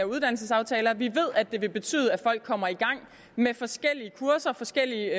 uddannelsesaftaler vi ved at det vil betyde at folk kommer i gang med forskellige kurser og forskellige